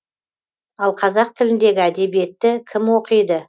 ал қазақ тіліндегі әдебиетті кім оқиды